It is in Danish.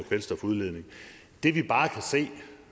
kvælstofudledning det vi bare kan se